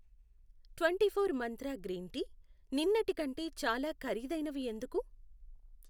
Twenty four Mantra green tea నిన్నటి కంటే చాలా ఖరీదైనవి ఎందుకు?